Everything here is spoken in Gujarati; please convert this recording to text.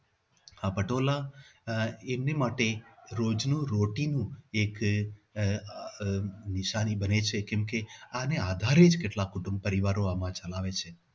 આ પટોળા આહ એમને માટે રોજ નું routine એક આહ આહ નિશાની બની છે કે જેના આધારે જ કેટલાક કુટુંબી પરિવારો ગુજરાન ચલાવે છે.